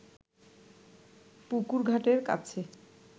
পুকুর ঘাটের কাছে